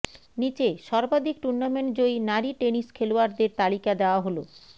নিচে সর্বাধিক টুর্নামেণ্ট জয়ী নারী টেনিস খেলোয়াড়দের তালিকা দেওয়া হলঃ